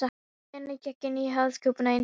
Steinninn gekk inn í höfuðkúpuna eins og axarblað.